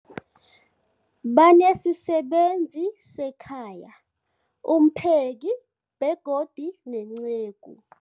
Banesisebenzi sekhaya, umpheki, begodu nenceku.